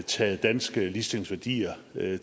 taget danske ligestillingsværdier